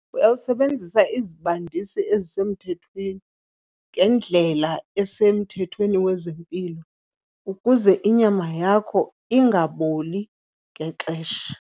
Uyawusebenzisa izibandisi ezisemthethweni ngendlela esemthethweni wezempilo ukuze inyama yakho ingaboli ngexesha.